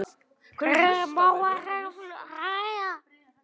Ég má ekki hlæja.